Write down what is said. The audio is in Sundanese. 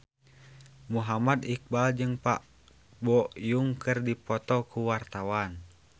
Muhammad Iqbal jeung Park Bo Yung keur dipoto ku wartawan